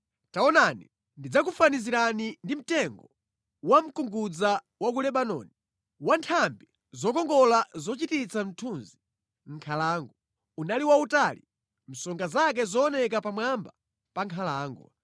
Taonani, ndidzakufanizirani ndi mtengo wa mkungudza wa ku Lebanoni, wa nthambi zokongola zochititsa mthunzi mʼnkhalango. Unali wautali, msonga zake zooneka pamwamba pa nkhalango.